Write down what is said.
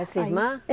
Essa irmã?